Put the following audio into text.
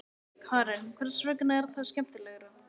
Karen: Hvers vegna er það skemmtilegra?